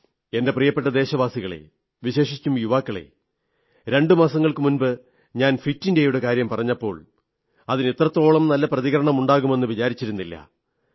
എന്റെ പ്രിയപ്പെട്ട ദേശവാസികളേ വിശേഷിച്ചും യുവാക്കളേ രണ്ടു മാസങ്ങൾക്കുമുമ്പ് ഞാൻ ഫിറ്റ് ഇന്ത്യയുടെ കാര്യം പറഞ്ഞപ്പോൾ അതിന് ഇത്രത്തോളം നല്ല പ്രതികരണമുണ്ടാകുമെന്ന് വിചാരിച്ചിരുന്നില്ല